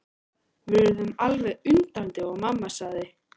Við urðum alveg undrandi og mamma sagði.